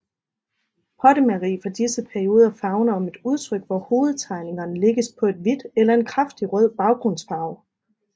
Pottemageri fra disse perioder favner om et udtryk hvor hoved tegningerne lægges på et hvidt eller en kraftig rød baggrundsfarve